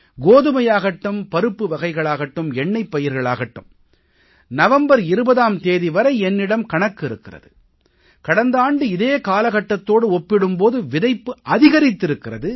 கோதுமையாகட்டும் பருப்பு வகைகளாகட்டும் எண்ணெய்ப் பயிர்கள் ஆகட்டும் நவம்பர் 20ஆம் தேதி வரை என்னிடம் கணக்கு இருக்கிறது கடந்த ஆண்டு இதே காலகட்டத்தோடு ஒப்பிடும் போது விதைப்பு அதிகரித்திருக்கிறது